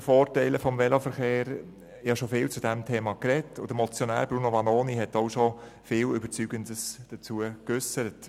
Darüber habe ich schon viel gesprochen, und der Motionär hat dazu auch schon viel Überzeugendes geäussert.